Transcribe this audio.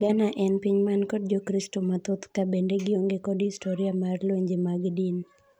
Ghana en piny man kod jokristu mathoth ka bende gionge kod historiya mar lwenje mag din.